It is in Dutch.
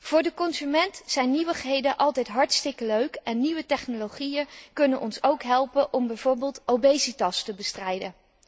Voor de consument zijn nieuwigheden altijd hartstikke leuk en nieuwe technologieën kunnen ons ook helpen om bijvoorbeeld obesitas te bestrijden.